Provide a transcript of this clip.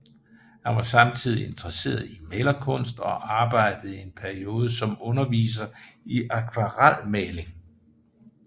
Han var samtidig interesseret i malerkunst og arbejdede i en periode som underviser i akvarelmaling